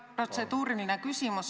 Jah, protseduuriline küsimus.